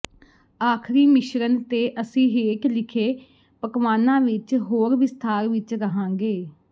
ਆਖਰੀ ਮਿਸ਼ਰਣ ਤੇ ਅਸੀਂ ਹੇਠ ਲਿਖੇ ਪਕਵਾਨਾਂ ਵਿੱਚ ਹੋਰ ਵਿਸਥਾਰ ਵਿੱਚ ਰਹਾਂਗੇ